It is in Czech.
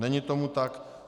Není tomu tak.